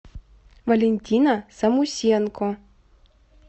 валентина самусенко